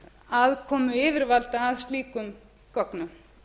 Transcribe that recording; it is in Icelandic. aðkomu yfirvalda að slíkum gögnum